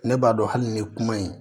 Ne b'a dɔn hali ni kuma in